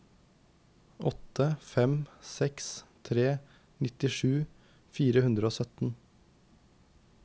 åtte fem seks tre nittisju fire hundre og sytten